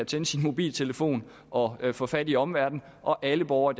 tænde sin mobiltelefon og få fat i omverdenen og alle borgere